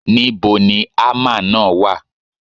Níbo ni ámà náà wà?